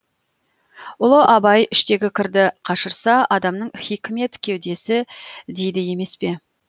ұлы абай іштегі кірді қашырса адамның хикмет кеудесі дейді емес пе